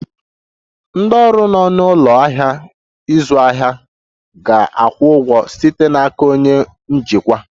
Ndị ọrụ nọ n'ụlọ ahịa ịzụ ahịa ga-akwụ ụgwọ site n'aka onye njikwa